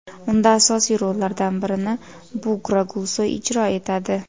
Unda asosiy rollardan birini Bugra Gulsoy ijro etadi.